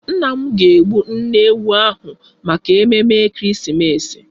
Nna m ga-egbu nne ewu ahụ maka ememme Ekeresimeesi.